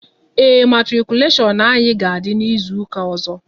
Ee, matikuleshon anyị ga-adị n'izuka ọzọ